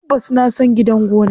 Tabbas na san gidan gona.